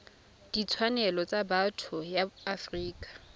ditshwanelo tsa botho ya afrika